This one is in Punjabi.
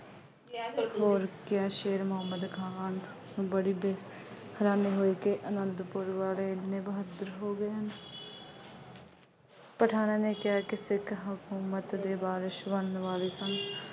ਹੋਰ ਕਿਆ ਸ਼ੇਰ ਮੁਹੰਮਦ ਖਾਨ ਬੜੀ ਦੇਰ ਰੰਨ ਹੋਈ ਕਿ ਆਨੰਦਪੁਰ ਵਾਲੇ ਬਹੱਤਰ ਪਠਾਨਾਂ ਨੇ ਕਿਹਾ ਕਿ ਸਿੱਖ ਹਕੂਮਤ ਦੇ ਵਾਰਿਸ ਬਣਨ ਵਾਲੇ ਸਨ।